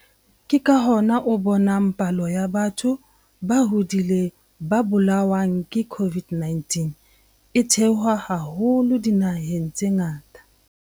Ke ka hona o bonang palo ya batho ba hodileng ba bolawang ke COVID-19 e theoha haholo dinaheng tse ngata.